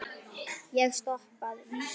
Ég stoppa.